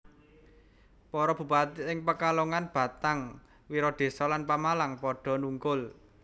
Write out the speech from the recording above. Para Bupati ing Pekalongan Batang Wiradésa lan Pemalang padha nungkul